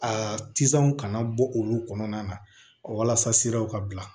A tisanw kana bɔ olu kɔnɔna na walasa siraw ka bila